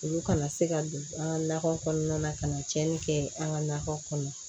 Olu kana se ka don an ka nakɔ kɔnɔna na ka na cɛnni kɛ an ka nakɔ kɔnɔ